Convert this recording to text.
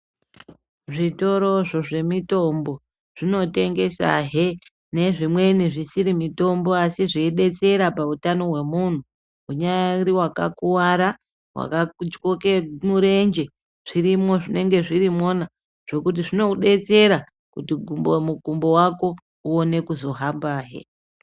Zvitoro izvi zvemitombo nezvimweni zvisiri mutombo asi Unyari wakakuwara ngakutyoke murenje zvirimo zvinenge zvirimo nekuti zvinodetsera mukumbo wako uone kuhamba zve.